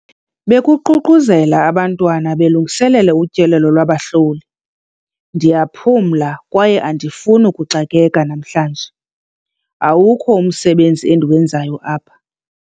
Bekuququzela abantwana belungiselela utyelelo lwabahloli. ndiyaphumla kwaye andifuni ukuxakeka namhlanje, awukho umsebenzi endiwenzayo apha